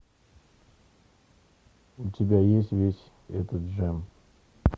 у тебя есть весь этот джем